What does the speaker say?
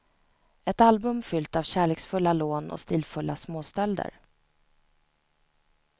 Ett album fyllt av kärleksfulla lån och stilfulla småstölder.